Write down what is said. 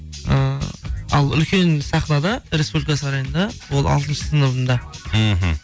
ы ал үлкен сахнада республика сарайында ол алтыншы сыныбымды мхм